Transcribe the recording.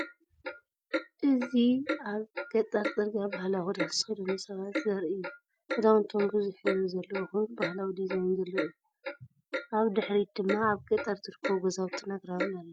እዚ ኣብ ገጠር ጽርግያ ባህላዊ ክዳን ዝተኸድኑ ሰባት ዘርኢ እዩ። ክዳውንቶም ብዙሕ ሕብሪ ዘለዎ ኮይኑ ባህላዊ ዲዛይን ዘለዎ እዩ። ኣብ ድሕሪት ድማ ኣብ ገጠር ዝርከቡ ገዛውትን ኣግራብን ኣለዉ።